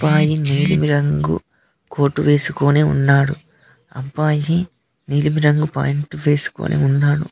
నీలిమి రంగు కోర్ట్ వేసుకుని ఉన్నాడు అబ్బాయి నీలిమి రంగు ప్యాంటు వెస్కొని ఉన్నాడు.